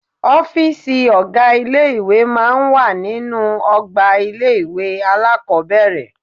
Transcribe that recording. Ọ́fìsì ọ̀gá ilé ìwé máa ń wà nínú ọgbà ilé-ìwé alákọ́bẹ̀rẹ̀